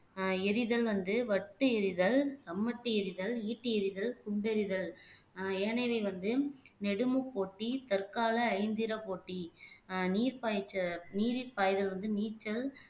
ஆஹ் எரிதல் வந்து வட்டு எறிதல் சம்மட்டி எறிதல் ஈட்டி எறிதல் குண்டெரிதல் ஆஹ் ஏனையவை வந்து நெடுமுப்போட்டி தற்கால ஐந்திரப் போட்டி ஆஹ் நீர் பாய்ச்ச நீரில் பாய்தல் வந்து நீச்சல்